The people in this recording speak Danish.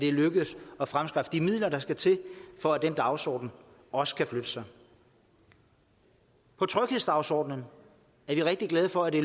er lykkedes at fremskaffe de midler der skal til for at den dagsorden også kan flytte sig på tryghedsdagsordenen er vi rigtig glade for at det